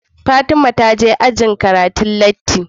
Fatima taje ajin karatu latti